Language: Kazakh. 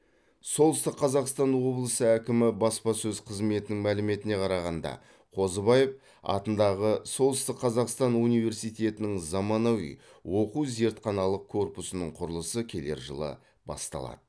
солтүстік қазақстан облысы әкімі баспасөз қызметінің мәліметіне қарағанда қозыбаев атындағы солтүстік қазақстан университетінің заманауи оқу зертханалық корпусының құрылысы келер жылы басталады